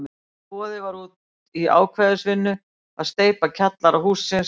Boðið var út í ákvæðisvinnu að steypa kjallara hússins, og var